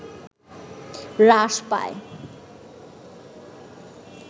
হ্রাস পায়